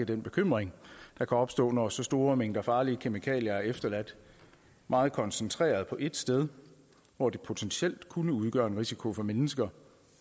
den bekymring der kan opstå når så store mængder farlige kemikalier er efterladt meget koncentreret på ét sted hvor de potentielt kunne udgøre en risiko for mennesker